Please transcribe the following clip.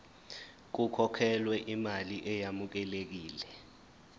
kukhokhelwe imali eyamukelekile